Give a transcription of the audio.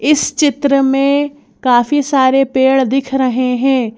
इस चित्र में काफी सारे पेड़ दिख रहे हैं।